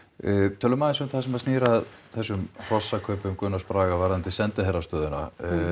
tölum aðeins um það sem snýr að þessum hrossakaupum Gunnars Braga varðandi sendiherrastöðuna